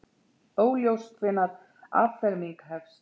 Óljóst hvenær afferming hefst